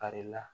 Farila